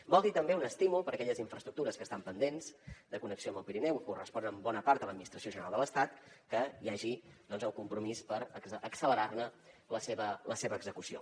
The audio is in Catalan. vol dir també un estímul per a aquelles infraestructures que estan pendents de connexió amb el pirineu i corresponen en bona part a l’administració general de l’estat que hi hagi doncs el compromís per accelerar ne la seva execució